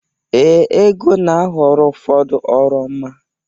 Ee, Ego na-aghọrọ ụfọdụ oroma.